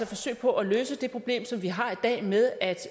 forsøg på at løse det problem som vi har i dag med at